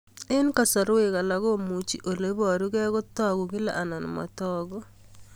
Eng'kasarwek alak komuchi ole parukei kotag'u kila anan matag'u